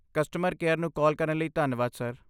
Customer care ਨੂੰ call ਕਰਨ ਲਈ ਧੰਨਵਾਦ, ਸਰ।